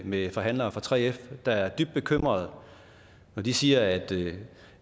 med forhandlere fra 3f der er dybt bekymret de siger at